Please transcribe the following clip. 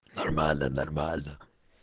нормально нормально